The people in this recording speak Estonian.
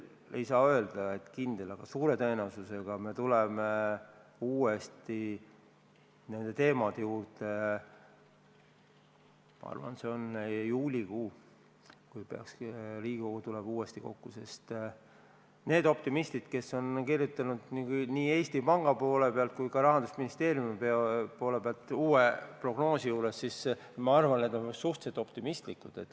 Ei saa öelda, et kindlasti, aga suure tõenäosusega me tuleme nende teemade juurde tagasi, ma arvan, juulikuus, kui Riigikogu tuleb uuesti kokku, sest need optimistid, kes on kirjutanud nii Eesti Panga kui ka Rahandusministeeriumi poole pealt uue prognoosi, on minu arvates suhteliselt optimistlikud.